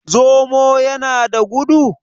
zomo ya da gudu?